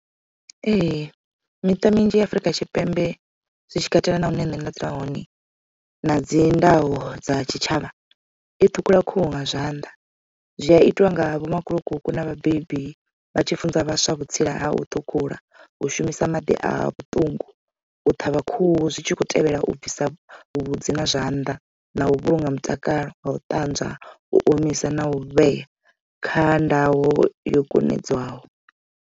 Ee miṱa minzhi ya Afurika Tshipembe zwitshi katela na hune nṋe nda dzula hone na dzi ndayo dza tshitshavha i ṱhukhula khuhu nga zwanḓa. Zwi a itiwa nga vho makhulukuku na vhabebi vha tshi funza vhaswa vhutsila ha u thukhula u shumisa maḓi a vhuṱungu u ṱhavha khuhu zwi tshi khou tevhela u bvisa vhuvhudzi na zwanḓa na u vhulunga mutakalo nga u ṱanzwa u omisa na u vhea kha ndayo yo kumedzelwaho.